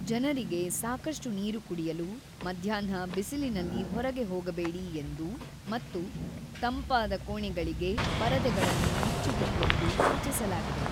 ಜನರಿಗೆ ಸಾಕಷ್ಟು ನೀರು ಕುಡಿಯಲು, ಮಧ್ಯಾಹ್ನ ಬಿಸಿಲಿನಲ್ಲಿ ಹೊರಗೆ ಹೋಗಬೇಡಿ ಎಂದೂ ಮತ್ತು ತಂಪಾದ ಕೋಣೆಗಳಿಗೆ ಪರದೆಗಳನ್ನು ಮುಚ್ಚಿಡಿ ಎಂದು ಸೂಚಿಸಲಾಗಿದೆ.